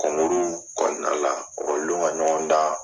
kɔnɔna la ɔkɔliden ka ɲɔgɔn dan.